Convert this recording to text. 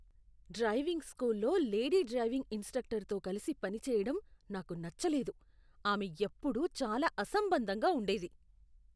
Driving స్కూల్లో lady driving ఇన్స్ట్రక్టరుతో కలిసి పనిచేయడం నాకు నచ్చలేదు. ఆమె ఎప్పుడూ చాలా అసంబంధంగా ఉండేది.